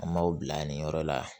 An b'aw bila nin yɔrɔ la